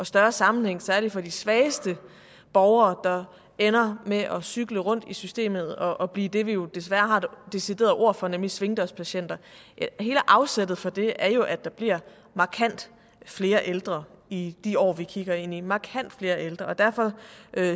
større sammenhæng særligt for de svageste borgere der ender med at cykle rundt i systemet og blive det vi jo desværre har et decideret ord for nemlig svingdørspatienter hele afsættet for det er jo at der bliver markant flere ældre i de år vi kigger ind i markant flere ældre og derfor